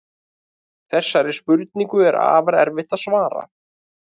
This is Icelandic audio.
Þessari spurningu er afar erfitt að svara.